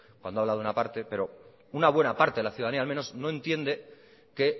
cuando habla de una parte pero una buena parte de la ciudadanía al menos no entiende que